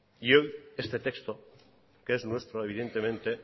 y hoy este texto que es nuestro evidentemente